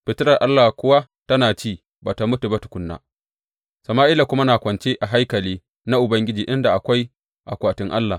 Fitilar Allah kuwa tana ci, ba tă mutu ba tukuna, Sama’ila kuma na kwance a haikali na Ubangiji inda akwai akwatin Allah.